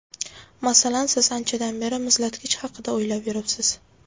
Masalan, siz anchadan beri muzlatgich haqida o‘ylab yuribsiz.